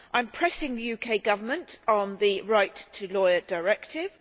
I am pressing the UK Government on the Right to a Lawyer Directive.